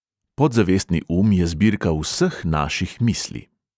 Podzavestni um je zbirka vseh naših misli.